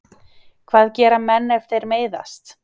Hvað gera menn ef þeir meiðast?